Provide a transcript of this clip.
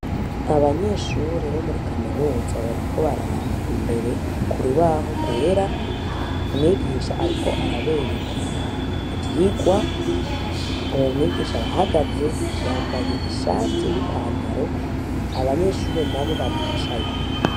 Abanyeshure bo muri kaminuza bariko baraba imbere ku rubaho rwera. Mwigisha ariko arabereka ivyigwa. Uwo mwigisha arahagaze, yambaye ishati n'ipantaro, abanyeshure nabo baricaye.